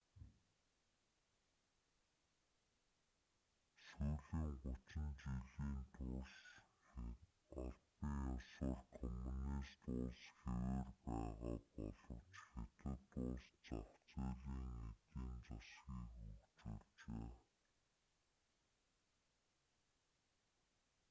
сүүлийн гучин жилийн турш албан ёсоор коммунист улс хэвээр байгаа боловч хятад улс зах зээлийн эдийн засгийг хөгжүүлжээ